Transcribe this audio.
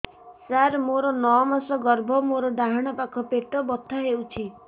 ସାର ମୋର ନଅ ମାସ ଗର୍ଭ ମୋର ଡାହାଣ ପାଖ ପେଟ ବଥା ହେଉଛି